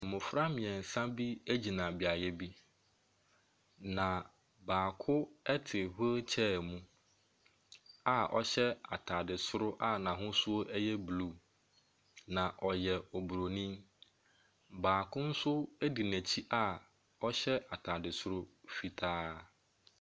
Mmɔfra mmiɛnsa bi gyina beaeɛ bi. Na baako te wheelchair mu a ɔhyɛ ataade soro a n’ahosuo ɛyɛ blue na ɔyɛ obronin. Baako nso di n’akyi a ɔhyɛ ataade soro fitaa.